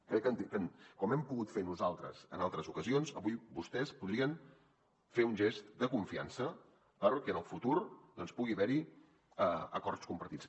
crec que com hem pogut fer nosaltres en altres ocasions avui vostès podrien fer un gest de confiança perquè en el futur doncs pugui haver hi acords compartits